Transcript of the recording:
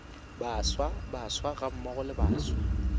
baswa baswa gammogo le baswa